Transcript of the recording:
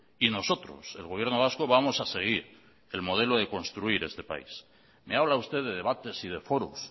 y nosotros el gobierno vasco vamos a seguir el modelo de construir este país me habla usted de debates y de foros